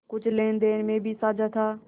कुछ लेनदेन में भी साझा था